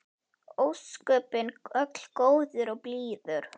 Ósköpin öll góður og blíður.